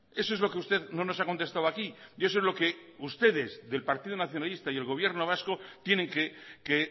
eso es lo que usted no nos ha contestado aquí y eso es lo que ustedes del partido nacionalista y el gobierno vasco tienen que